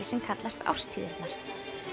sem kallast árstíðirnar